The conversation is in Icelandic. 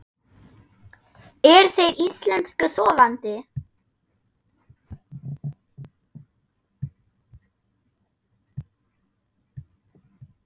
Eru þeir Íslensku sofandi?